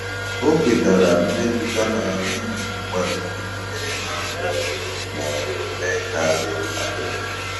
O kwetara mmetụta ha na-enweghị mgbalị ịtụnyere ha ma ọ bụ ma ọ bụ mee ka dị ntakịrị.